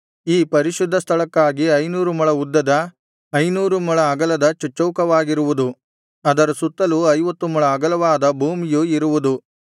ಈ ಪರಿಶುದ್ಧ ಸ್ಥಳಕ್ಕಾಗಿ ಐನೂರು ಮೊಳ ಉದ್ದದ ಐನೂರು ಮೊಳ ಅಗಲದ ಚಚ್ಚೌಕವಾಗಿರುವುದು ಅದರ ಸುತ್ತಲೂ ಐವತ್ತು ಮೊಳ ಅಗಲವಾದ ಭೂಮಿಯು ಇರುವುದು